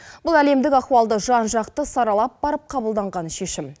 бұл әлемдік ахуалды жан жақты саралап барып қабылданған шешім